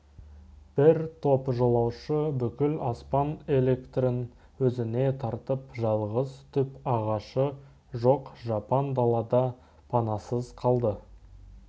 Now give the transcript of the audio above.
бір топ жолаушы бүкіл аспан электрін өзіне тартып жалғыз түп ағашы жоқ жапан далада панасыз қалды